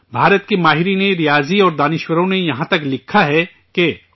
بھارت کے ریاضی دانوں اور دانشوروں نے یہاں تک لکھا ہے کہ